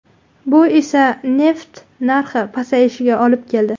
Bu esa neft narxi pasayishiga olib keldi.